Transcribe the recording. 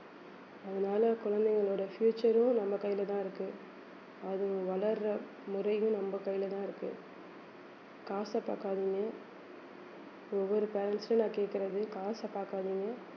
அதனால குழந்தைங்களோட future உம் நம்ம கையிலதான் இருக்கு அது வளர்ற முறையும் நம்ம கையிலதான் இருக்கு காசை பாக்காதீங்க ஒவ்வொரு parents ஐயும் நான் கேட்கிறது காசை பாக்காதீங்க